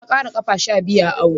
Ya ƙara ƙafa sha biyu a awon.